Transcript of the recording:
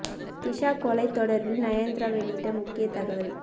திஷா கொலை தொடர்பில் நயன்தாரா வெளியிட்ட முக்கிய தகவல்